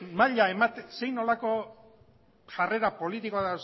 zein nolako jarrera politiko